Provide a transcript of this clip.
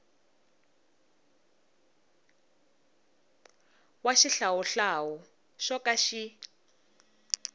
wa xihlawuhlawu xo ka xi